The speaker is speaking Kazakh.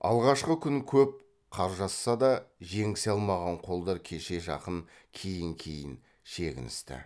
алғашқы күн көп қаржасса да жеңісе алмаған қолдар кешке жақын кейін кейін шегіністі